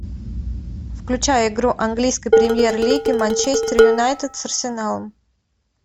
включай игру английской премьер лиги манчестер юнайтед с арсеналом